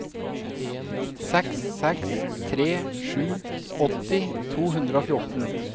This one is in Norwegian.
seks seks tre sju åtti to hundre og fjorten